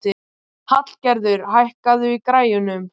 Hallgerður, hækkaðu í græjunum.